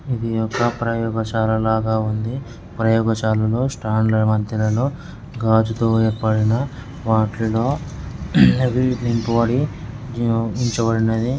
ఇది ఒక ప్రయోగశాల లాగా ఉంది. ప్రయోగశాలలో స్టాండ్ల మధ్యలో గాజుతో ఏర్పడిన వాటిల్లో నింపబడి ఉ-ఉంచబడినది.